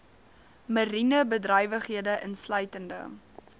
mariene bedrywighede insluitende